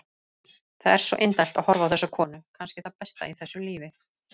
Það er svo indælt að horfa á þessa konu, kannski það besta í þessu lífi.